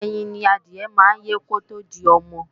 Ẹyin ni adìẹ máa ń kọ́kọ́ yé kótó di ọmọ